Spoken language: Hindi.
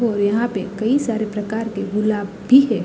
और यहाँ पे कई सारे प्रकार के गुलाब भी है।